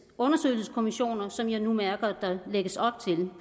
undersøgelseskommissioner som jeg nu mærker der lægges op til